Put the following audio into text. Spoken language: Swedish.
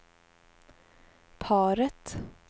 paret